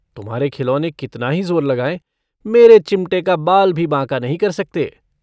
तुम्हारे खिलौने कितना ही जोर लगाये मेरे चिमटे का बाल भी बांका नहीं कर सकते।